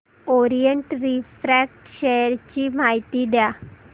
Orient refract share ची माहिती द्या